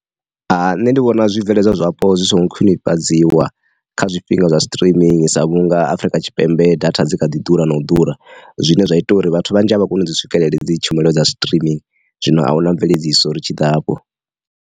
Ha nṋe ndi vhona zwi bveledzwa zwapo zwi songo khwinifhadziwa kha zwifhinga zwa streaming sa vhunga Afrika Tshipembe data dzi kha ḓi ḓura na u ḓura, zwine zwa ita uri vhathu vhanzhi a vha koni u swikelela dzi tshumelo dza streaming, zwino a huna mveledziso uri tshi ḓa afho.